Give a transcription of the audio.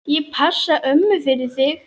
Ég passa ömmu fyrir þig.